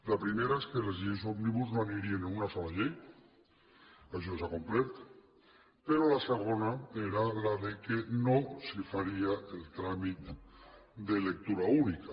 la primera és que les lleis òmnibus no anirien en una sola llei això s’ha complert però la segona era que no s’hi faria el tràmit de lectura única